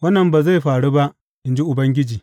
Wannan ba zai faru ba, in ji Ubangiji.